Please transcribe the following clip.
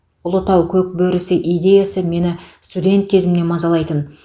ұлытау көкбөрісі идеясы мені студент кезімнен мазалайтын